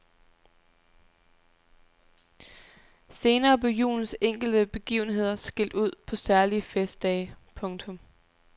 Senere blev julens enkelte begivenheder skilt ud på særlige festdage. punktum